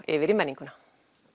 yfir í menninguna